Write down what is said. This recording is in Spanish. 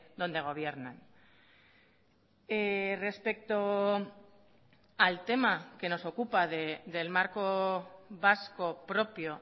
donde gobiernan respecto al tema que nos ocupa del marco vasco propio